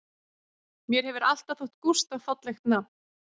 Mér hefur alltaf þótt Gústaf fallegt nafn